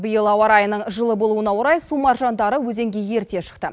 биыл ауа райының жылы болуына орай су маржандары өзенге ерте шықты